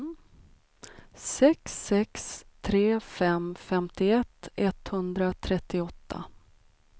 sex sex tre fem femtioett etthundratrettioåtta